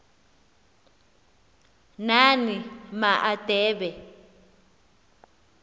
nani ma adebe